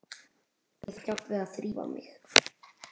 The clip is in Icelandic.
Ég þarf hjálp við að þrífa mig.